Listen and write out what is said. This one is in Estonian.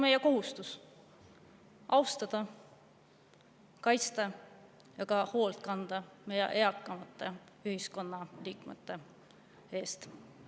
Meie kohustus on austada ja kaitsta meie eakamaid ühiskonnaliikmeid ja nende eest hoolt kanda.